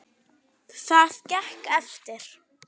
Það gekk eftir.